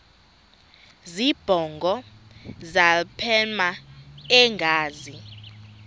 zibongo zazlphllmela engazi